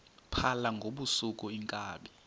phala ngobusuku iinkabi